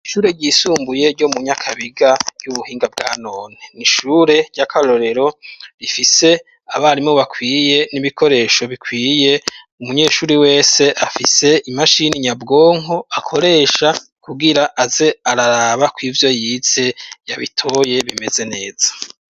Ishure ryisumbuye ryo mu nyakabiga ry'ubuhinga bwa none, n'ishure ry'akarorero rifise abarimu bakwiye n'ibikoresho bikwiye umunyeshuri wese afise imashini nyabwonko akoresha kugira aze araraba ko ivyo yize yabitoye bimeze neza.